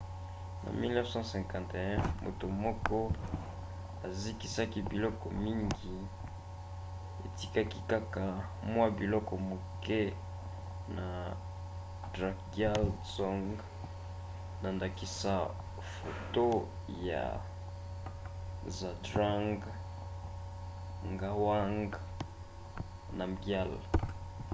na 1951 moto moko ezikisaki biloko mingi etikaki kaka mwa biloko moke na drukgyal dzong na ndakisa foto ya zhabdrung ngawang namgyal